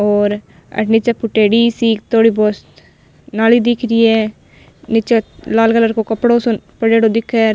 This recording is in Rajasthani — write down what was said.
और अठ निचे फुटेडी सी थोड़ी बहुत नाली दिख रही है निचे लाल कलर को कपड़ो सो पड़योडो दिखे।